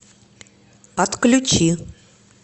отключи